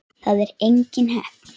Það er engin heppni.